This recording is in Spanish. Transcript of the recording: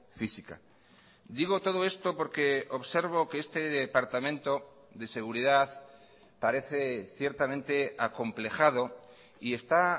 física digo todo esto porque observo que este departamento de seguridad parece ciertamente acomplejado y está